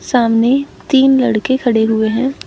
सामने तीन लड़के खड़े हुए हैं।